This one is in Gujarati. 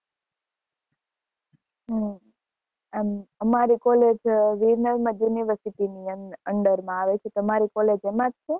હમ અમારી college university ની under માં આવે છે તમારી college એમાં જ છે